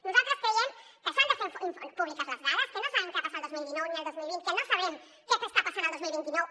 nosaltres creiem que s’han de fer públiques les dades que no sabem què va pas·sar el dos mil dinou ni el dos mil vint que no sabrem què està passant el dos mil vint nou